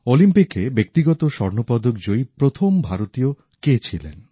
অলিম্পিকে ব্যক্তিগত স্বর্ণপদক জয়ী প্রথম ভারতীয় কে ছিলেন